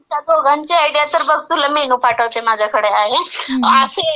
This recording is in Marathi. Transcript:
त्या दोघांची आयडिया तर बघ तुला मेनू पाठवते माझ्याकडे आहे.असे